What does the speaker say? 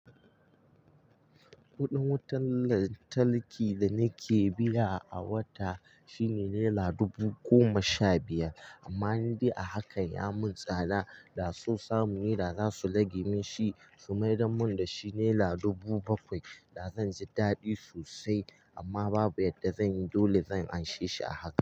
Kuɗin wutar lantarki da nake biya a wata, shine naira dubu goma sha biyar, amma ni dai a haka ya mun tsada da sosamune da za su rage min shi, su mai darmun da shi naira dubu bakwai da zan ji daɗi sosai. Amma babu yadda zan yi, dole zan anshe shi a haka.